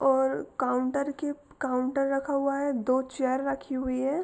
और काउन्टर के काउंटर रखा हुआ है दो चेयर रखी हुई है।